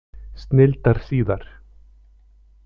Snilldar síðar!